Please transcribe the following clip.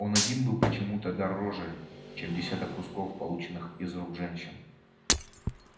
он один был почему то дороже чем десяток кусков полученных из рук женщин